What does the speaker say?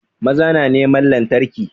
Maza na neman lantarki